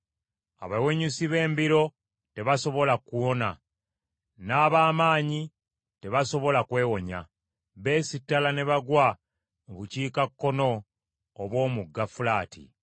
“Abawenyusi b’embiro tebasobola kuwona n’ab’amaanyi tebasobola kwewonya. Beesittala ne bagwa mu bukiikakkono obw’Omugga Fulaati.